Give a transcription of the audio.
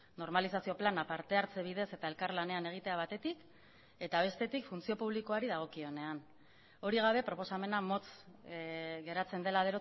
normalizazio plana partehartze bidez eta elkarlanean egitea batetik eta bestetik funtzio publikoari dagokionean hori gabe proposamena motz geratzen dela